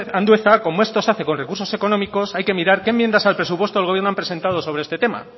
andueza como esto se hace con recursos económicos hay que mirar qué enmiendas al presupuesto del gobierno han presentado sobre este tema